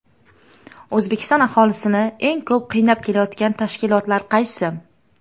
O‘zbekiston aholisini eng ko‘p qiynab kelayotgan tashkilotlar qaysi?.